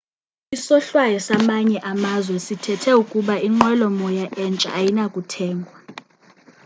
isohlwayo samanye amazwe sithethe ukuba inqwelo moya entsha ayinakuthengwa